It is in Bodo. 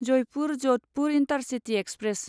Jaipur Jodhpur intercity express